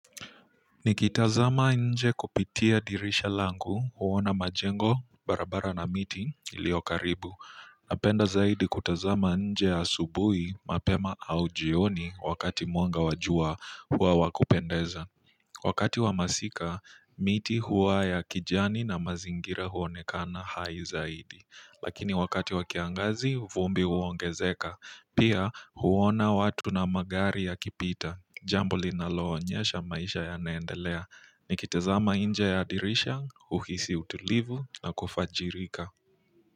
Nikitazama nje kupitia dirisha langu huona majengo barabara na miti iliyo karibu napenda zaidi kutazama nje asubuhi mapema au jioni wakati mwanga wa jua huwa wa kupendeza wakati wa masika miti huwa ya kijani na mazingira huonekana hai zaidi lakini wakati wa kiangazi vumbi huongezeka pia huona watu na magari yakipita jambo linaloonyesha maisha yanaendelea nikitazama nje ya dirisha huhisi utulivu na kufajirika.